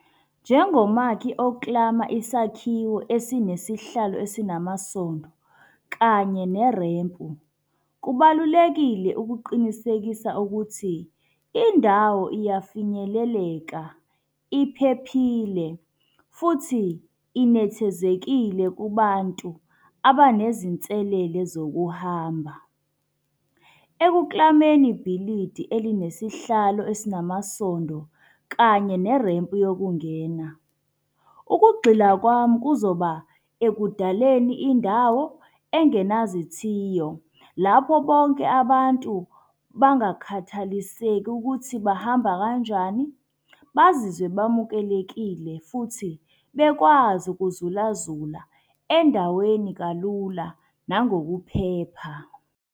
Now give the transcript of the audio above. Njengomakhosi oklama isakhiwo esinesihlalo esinamasondo kanye nelempu, kubalulekile ukuqinisekisa ukuthi indawo iyafinyeleleka, iphephile futhi inethezekile kubantu abanezinselele zokuhamba. Ekuklameni Ibhilidi elinesihlalo esinamasondo kanye nerempu yokungena, ukugxila kwami kuzoba ekudaleni indawo engenazithiyo. Lapho bonke abantu bangakhathaliseki ukuthi bamba kanjani, bazizwe bamukelekile futhi bekwazi ukuzulazula endaweni kalula nangokuphepha.